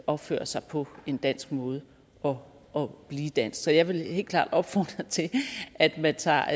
opføre sig på en dansk måde og og blive dansk så jeg vil helt klart opfordre til at man tager